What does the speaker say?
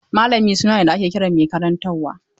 Mallami suna ne da ake kiran mai karantarwa.